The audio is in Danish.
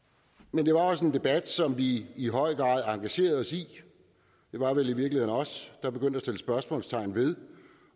men det var også en debat som vi i høj grad engagerede os i det var vel i virkeligheden os der begyndte at sætte spørgsmålstegn ved